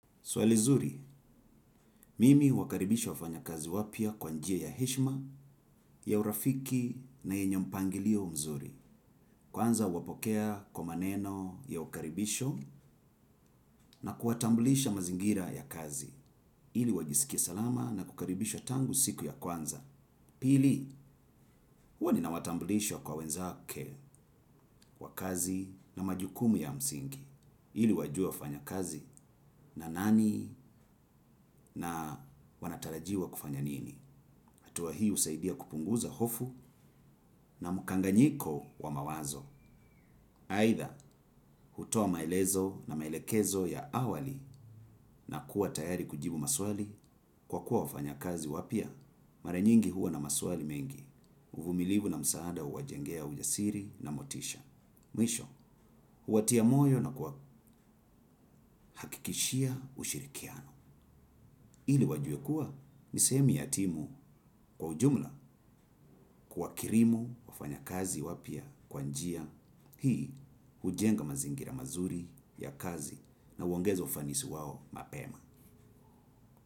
Swali zuri, mimi uwakaribisha wafanya kazi wapia kwanjia ya heshma, ya urafiki na yenye mpangilio mzuri. Kwanza huwapokea kwa maneno ya ukaribisho na kuwatambulisha mazingira ya kazi. Ili wajisikie salama na kukaribishwa tangu siku ya kwanza. Pili, huwa ninawatambulishwa kwa wenzake wakazi na majukumu ya msingi. Ili wajue wafanya kazi na nani na wanatarajiwa kufanya nini. Hatua hii usaidia kupunguza hofu na mkanganyiko wa mawazo. Haitha, hutoa maelezo na maelekezo ya awali na kuwa tayari kujibu maswali kwa kuwa wafanya kazi wapia. Mara nyingi huwa na maswali mengi. Uvumilivu na msaada uwajengea ujasiri na motisha. Mwisho, huwatia moyo na kuwa hakikishia ushirikiano. Ili wajuekuwa nisehemu yatimu kwa ujumla kuwa kirimu wafanya kazi wapia kwanjia. Hii hujenga mazingira mazuri ya kazi na uongeza ufanisi wao mapema.